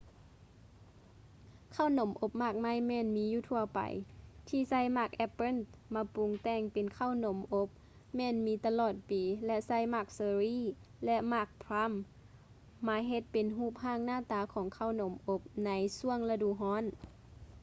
ເຂົ້າໜົມອົບໝາກໄມ້ແມ່ນມີຢູ່ທົ່ວໄປ ທີ່ໃຊ້ໝາກແອບເປີ້ນມາປຸງແຕ່ງເປັນເຂົ້າໜົມອົບ ແມ່ນມີຕະຫຼອດປີ ແລະ ໃຊ້ໝາກເຊີຣີ່ ແລະ ໝາກພຼາມ plums ມາເຮັດເປັນຮູບຮ່າງໜ້າຕາຂອງເຂົ້າໜົມອົບ ໃນຊ່ວງລະດູຮ້ອນ